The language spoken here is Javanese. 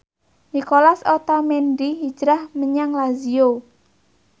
Nicolas Otamendi hijrah menyang Lazio